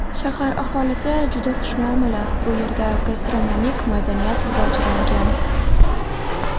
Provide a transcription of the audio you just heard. Shahar aholisi juda xushmuomala, bu yerda gastronomik madaniyat rivojlangan.